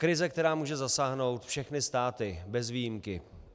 Krize, která může zasáhnout všechny státy bez výjimky.